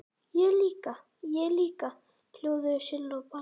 Ég líka, ég líka!!! hljóðuðu Silla og Palla.